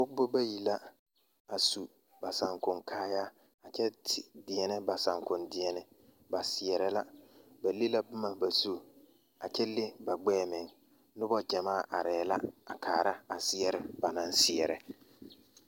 Pɔgeba bayi la a su ba saakonkaayaa a kyɛ de deɛnɛ ba saakondeɛne ba seɛrɛ la ba le la boma ba zu a kyɛ le ba gbɛɛ meŋ noba gyamaa arɛɛ la a kaara a seɛre ba naŋ seɛrɛ.